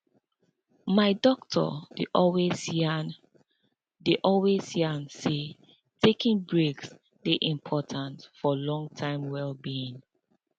my doctor dey always yarn dey always yarn say taking breaks dey important for long term well being